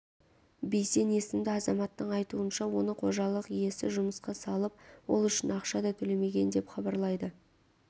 бейсен есімді азаматтың айтуынша оны қожалық иесі жұмысқа салып ол үшін ақша да төлемеген деп хабарлайды